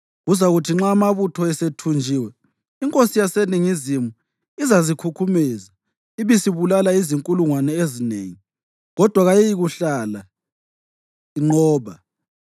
Kuzakuthi nxa amabutho esethunjiwe, inkosi yaseNingizimu izazikhukhumeza, ibisibulala izinkulungwane ezinengi, kodwa kayiyikuhlala inqoba.